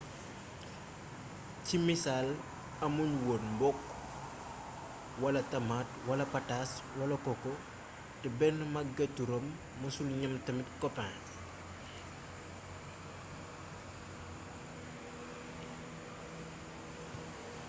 ci misaal amuñu won mbokk wala tamaate wala pataas wala koko te benn magetu rome mëssul ñam tamit koppin